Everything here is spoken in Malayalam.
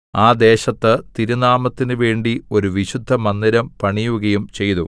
ആ ദേശത്ത് തിരുനാമത്തിനുവേണ്ടി ഒരു വിശുദ്ധമന്ദിരം പണിയുകയും ചെയ്തു